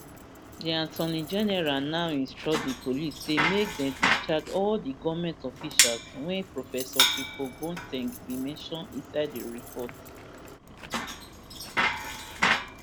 di attorney general now instruct di police say make dey discharge all di goment officials wey professor frimpongboa ten g been mention inside im report